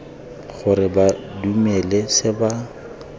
gore ba dumele se ba